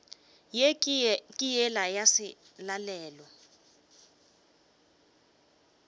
ye ke yela ya selalelo